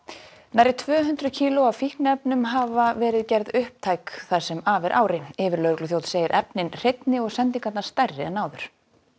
nærri tvö hundruð kíló af fíkniefnum hafa verið gerð upptæk það sem af er ári yfirlögregluþjónn segir efnin hreinni og sendingarnar stærri en áður